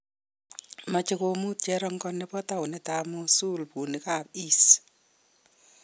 Meche komuut cherongo nebo tounit ab Mosul buunik ab IS